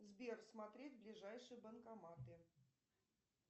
сбер смотреть ближайшие банкоматы